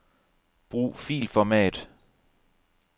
Brug filformat.